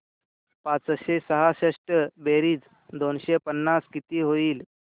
पाचशे सहासष्ट बेरीज दोनशे पन्नास किती होईल